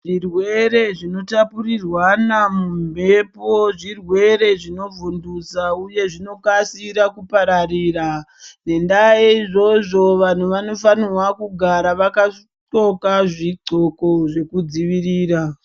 Zvirwere zvinotapurirwana mumhepo zvirwere zvinovhundutsa uye zvinokasira kupararira ngendaa yeizvozvo vantu vanofanirwa kugara vakapfeka zvidxoko zvinodzivirira.